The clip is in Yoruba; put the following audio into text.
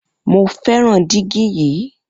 Mo fẹràn dígí yìí